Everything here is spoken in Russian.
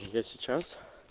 я сейчас